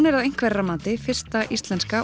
er að einhverra mati fyrsta íslenska